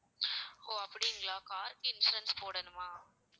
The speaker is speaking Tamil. ஓ அப்படிங்களா car க்கு insurance போடணுமா